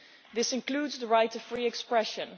This includes the right to free expression.